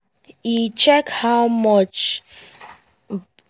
e check how much